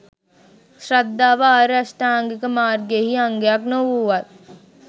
ශ්‍රද්ධාව ආර්ය අෂ්ටාංගික මාර්ගයෙහි අංගයක් නොවූවත්